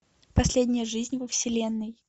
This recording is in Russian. последняя жизнь во вселенной